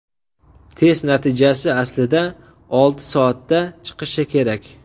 Test natijasi aslida olti soatda chiqishi kerak.